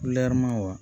wa